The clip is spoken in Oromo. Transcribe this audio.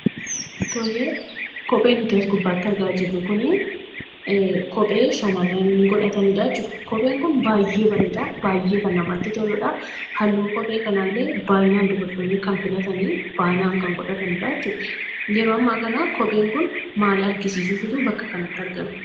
Tole, kophee as gubbatti argaa jirru kuni, kophee shamarrani godhatanidha jechuudha. kopheen kun baay'ee bareeda, baay'ee kan namatti toludha. halluun kophee kanallee baay'inaan dubartoonni kan filatanidha, baay'inaan kan godhatanidha jechuudha. yeroo amma kana kopheen kun maal argisiisuuf bakka kanatti argame?